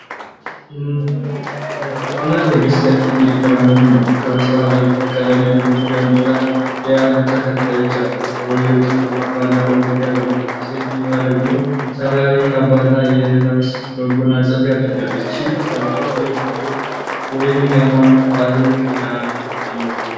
ንጉስና ንግስት ከፊት እየተራመዱ ነው፣ ከበስተኋላ ብዙ ቀለም ያለው ጃንጥላ የያዙ ተከታዮች አሉ። ሰውየው ጥቁር ካባና ኮፍያ ለብሷል፣ ሴትዮዋ ደግሞ ሰማያዊ ካባ እና የራስ መጎናጸፊያ አድርጋለች። ይህ ሰልፍ የብሔር ወይም የሃይማኖት በዓልን ያመለክታልን?